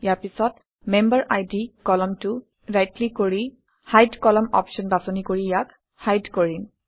ইয়াৰ পিছত মেম্বেৰিড কলমটোত right click কৰি হাইড কলম অপশ্যন বাছনি কৰি ইয়াক হাইড কৰিম